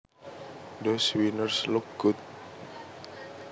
Those wieners look good